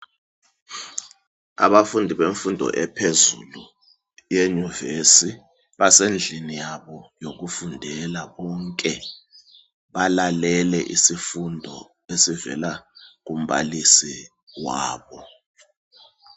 Abafundi bemfundo ephezulu eyunivesi basendlini yabo yokufundela, bonke balalele isifundo esivela kumbalisi wabo.